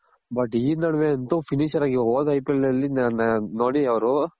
but ಇ ನಡ್ವೆ ಅಂತು finisher ಆಗಿ ಹೋದ IPL ನಲ್ಲಿ ನೋಡಿ ಅವ್ರು